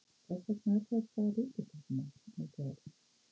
Þess vegna er þetta mál ríkisstjórnarmál nú þegar!